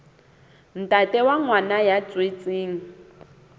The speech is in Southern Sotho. ntate wa ngwana ya tswetsweng